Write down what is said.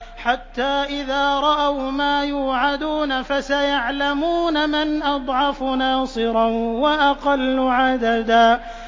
حَتَّىٰ إِذَا رَأَوْا مَا يُوعَدُونَ فَسَيَعْلَمُونَ مَنْ أَضْعَفُ نَاصِرًا وَأَقَلُّ عَدَدًا